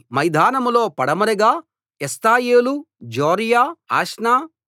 మైదానం లో పడమరగా ఎష్తాయోలు జొర్యా అష్నా